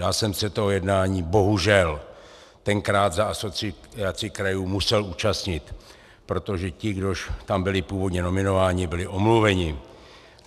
Já jsem se toho jednání bohužel tenkrát za Asociaci krajů musel účastnit, protože ti, kdož tam byli původně nominováni, byli omluveni.